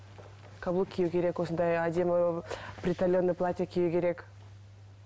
каблук кию керек осындай әдемі приталенное платье кию керек